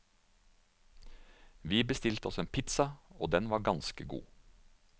Vi bestilte oss en pizza, og den var ganske god.